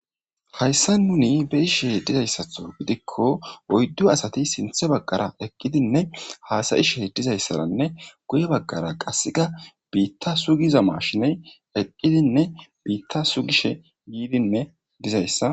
Hayssa nuni be ishe dizayssatho gidikko oyddu asati sinthe baggara ekkidinne haasayishe dizayssaranne guye baggara qasseka biitta sugiza mashiney eqqidinne biitta sugishe yiidinne dizayssa.